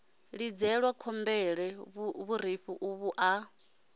lidzelwa khombole vhurifhi uvhu a